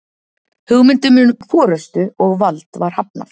hugmyndum um forystu og vald var hafnað